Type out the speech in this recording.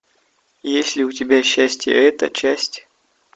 есть ли у тебя счастье это часть